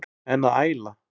En að æla?